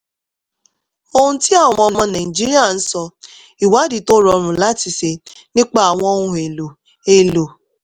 ohun tí àwọn ọmọ nàìjíríà ń sọ ìwádìí tó rọrùn láti ṣe nípa àwọn ohun elo elo